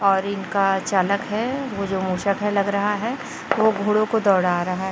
और इनका चालक है वो जो मूषक है लग रहा है वो घोड़े को दौड़ा रहा